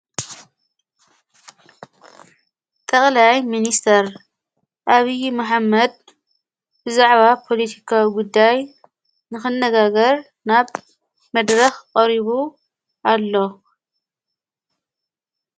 ቀቕላይ ምንስተር ኣብዪ መሓመድ ብዛዕባ ጶሊቲካ ጕዳይ ንኽነጋገር ናብ መድረኽ ቐሪቡ ኣሎ።